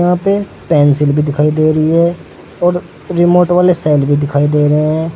यहां पे पेंसिल भी दिखाई दे रही है और रिमोट वाले सेल भी दिखाई दे रहे हैं।